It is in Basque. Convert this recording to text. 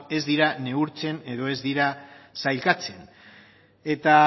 ez dira neurtzen edo ez dira sailkatzen eta